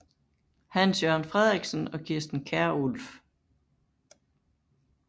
Hans Jørgen Frederiksen og Kirsten Kjærulff